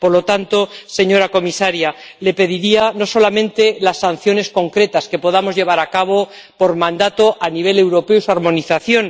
Por lo tanto, señora comisaria, le pediría no solamente las sanciones concretas que podamos imponer por mandato a nivel europeo y su armonización.